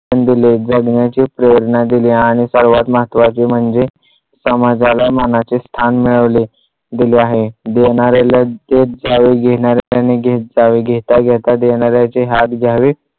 शिक्षण दिले शिक्षण दिले जगण्याची प्रेरणा दिली. आणि सर्वात महत्त्वाचे म्हणजे समाजाला मानाचे स्थान मिळवले दिले आहे. देणाऱ्याला देणाऱ्याने देत जावे घेणाऱ्याने घेत जावे घेता घेता देणाऱ्याचे हात घ्यावे.